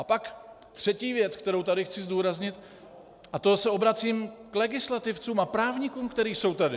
A pak třetí věc, kterou tady chci zdůraznit, a to se obracím k legislativcům a právníkům, kteří jsou tady.